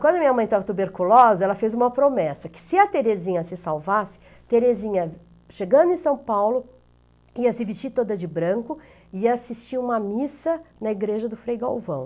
Quando minha mãe estava tuberculosa, ela fez uma promessa, que se a Terezinha se salvasse, Terezinha, chegando em São Paulo, ia se vestir toda de branco e ia assistir uma missa na igreja do Frei Galvão.